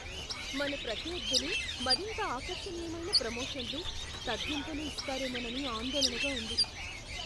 మన ప్రత్యర్ధులు మరింత ఆకర్షణీయమైన ప్రమోషన్లు, తగ్గింపులు ఇస్తారేమోనని ఆందోళనగా ఉంది.